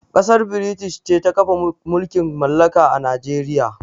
Kassar British ce ta kafa mulƙin mallaƙa a Najeriƴa.